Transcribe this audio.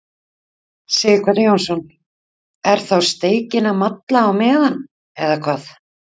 Sighvatur Jónsson: Er þá steikin að malla á meðan, eða hvað?